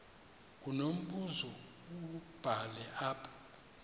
unombuzo wubhale apha